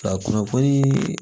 Ka kunnafoni